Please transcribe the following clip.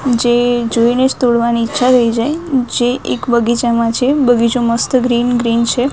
જે જોઈને જ તોડવાની ઈચ્છા થઈ જાય જે એક બગીચામાં છે બગીચો મસ્ત ગ્રીન ગ્રીન છે.